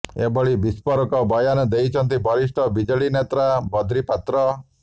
ଏଭଳି ବିସ୍ପୋରକ ବୟାନ ଦେଇଛନ୍ତି ବରିଷ୍ଠ ବିଜେଡି ନେତା ବଦ୍ରି ପାତ୍ର